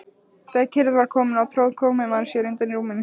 Þegar kyrrð var komin á tróð komumaður sér undan rúminu.